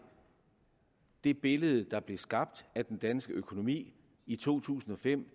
det billede der blev skabt af den danske økonomi i to tusind og fem